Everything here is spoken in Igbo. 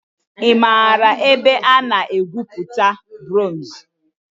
I maara ebe a na-egwupụta bronz?